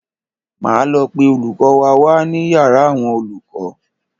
Máa lọ pe olùkọ́ wa wá ní yàrá àwọn olùkọ́.